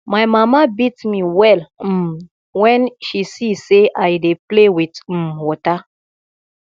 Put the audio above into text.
my mama beat me well um wen she see say i dey play with um water